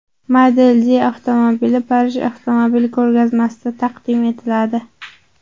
Model D avtomobili Parij avtomobil ko‘rgazmasida taqdim etiladi.